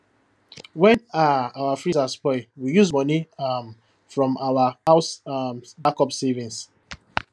when um our freezer spoil we use money um from our house um backup savings